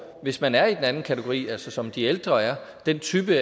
hvis man er i den anden kategori altså som de ældre er den type